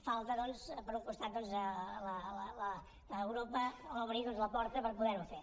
falta doncs per un costat que europa obri la porta per poder ho fer